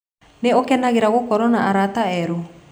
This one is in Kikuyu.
Nĩ ũkenagĩra gũkorũo na arata erũ?